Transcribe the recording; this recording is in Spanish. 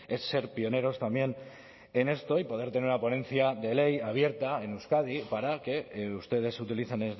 es ser pioneros también en esto y poder tener la ponencia de ley abierta en euskadi para que ustedes utilizan